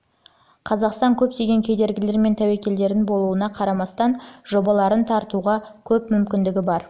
қазақстан көптеген кедергілер мен тәуекелдердің болуына қарамастан жобаларын тартуға көп мүмкіндігі бар